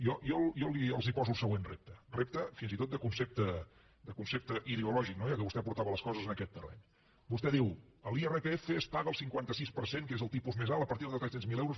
jo els poso el següent repte repte fins i tot de concepte ideològic ja que vostè portava les coses en aquest terreny vostè diu l’irpf es paga el cinquanta sis per cent que és el tipus més alt a partir de tres cents miler euros